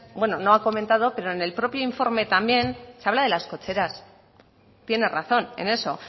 bueno no ha comentado pero en el propio informe también se habla de las cocheras tiene razón en eso